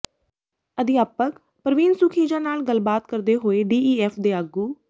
ਅਧਿਆਪਕ ਪ੍ਰਵੀਨ ਸੁਖੀਜਾ ਨਾਲ ਗੱਲਬਾਤ ਕਰਦੇ ਹੋਏ ਡੀਈਐਫ ਦੇ ਆਗੂ